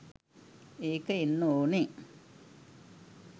ඒක එන්න ඕනි